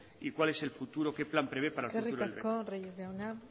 y cuál es el futuro qué plan prevé eskerrik asko reyes jauna